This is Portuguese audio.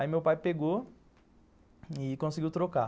Aí meu pai pegou e conseguiu trocar.